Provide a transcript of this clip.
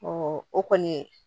o kɔni